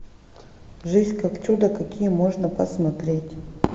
жизнь как чудо какие можно посмотреть